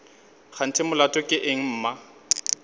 kganthe molato ke eng mma